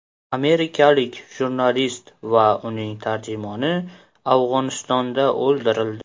Amerikalik jurnalist va uning tarjimoni Afg‘onistonda o‘ldirildi.